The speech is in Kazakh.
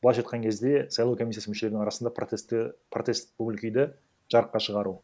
былайша айтқан кезде сайлау комиссиясы мүшелерінің арасында протестті протест көңіл күйді жарыққа шығару